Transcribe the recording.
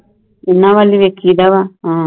ਇੰਨਾ ਵੱਲ ਵੈਖੀ ਦਾ ਵਾ